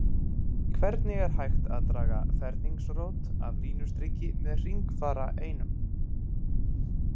Hvernig er hægt að draga ferningsrót af línustriki með hringfara einum?